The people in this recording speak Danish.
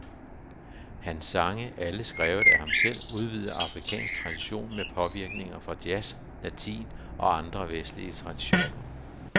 Hans sange, alle skrevet af ham selv, udvider afrikansk tradition med påvirkninger fra jazz, latin og andre vestlige traditioner.